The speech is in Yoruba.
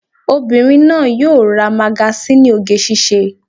Obìnrin náà yóò ra magasíìnì oge síṣe